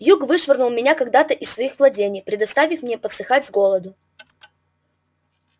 юг вышвырнул меня когда-то из своих владений предоставив мне подсыхать с голоду